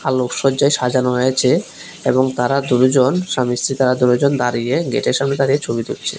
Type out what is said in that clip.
আলোক সজ্জায় সাজানো হয়েছে এবং তারা দু-জন স্বামী-স্ত্রী তারা দুইজন দাঁড়িয়ে গেটের সামনে দাঁড়িয়ে ছবি তুলছে।